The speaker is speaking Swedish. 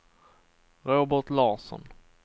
Robert Larsson